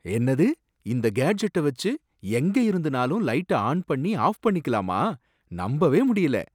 என்னது! இந்த கேட்ஜட்ட வச்சு எங்க இருந்துனாலும் லைட்ட ஆன் பண்ணி ஆஃப் பண்ணிக்கலாமா? நம்பவே முடியல